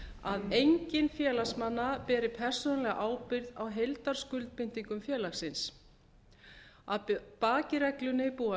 hlutafélaga að enginn félagsmanna beri persónulega ábyrgð á heildarskuldbindingum félagsins að baki reglunni búa